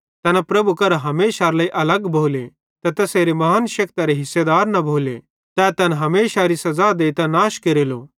तैना प्रभुए करां हमेशारे लेइ अलग भोले ते तैसेरे महान शेक्तरे हिस्सेदार न भोले तै तैन हमेशारी सज़ा देइतां नाश केरेलो